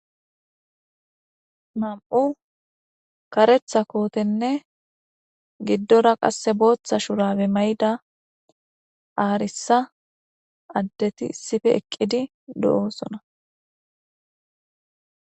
Namu kareththa kotenne giddora qase botha shurabe arisa adeti issippe eqidi deosoona